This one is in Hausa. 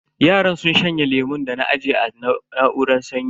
Yaran sun shanye lemun da na aje a na'uran sanyi.